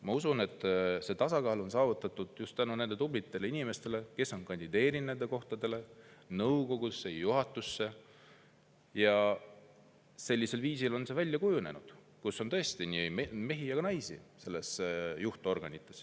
Ma usun, et see tasakaal on saavutatud tänu nendele tublidele inimestele, kes on kandideerinud nendele kohtadele – nõukogusse ja juhatusse –, ja sellisel viisil on kujunenud, et nende juhtorganites on tõesti nii mehi kui ka naisi.